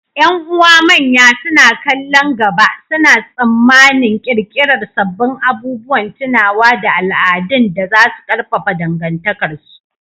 Ƴan’uwa manya, suna kallon gaba, suna tsammanin ƙirƙirar sabbin abubuwan tunawa da al’adun da za su ƙarfafa dangantakarsu.